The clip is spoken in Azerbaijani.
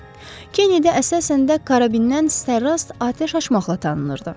Kennedi əsasən də karabindən sərrast atəş açmaqla tanınırdı.